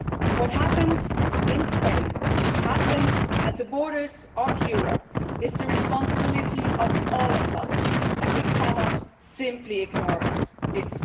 What happens in Spain, what happens at the borders of Europe, is the responsibility of all of us, and we cannot simply ignore it.